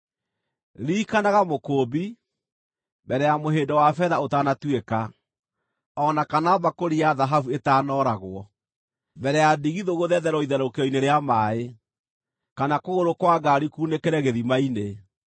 Ririkanaga Mũkũũmbi: mbere ya mũhĩndo wa betha ũtanatuĩka, o na kana mbakũri ya thahabu ĩtaanooragwo; mbere ya ndigithũ gũthethererwo itherũkĩro-inĩ rĩa maaĩ, kana kũgũrũ kwa ngaari kuunĩkĩre gĩthima-inĩ,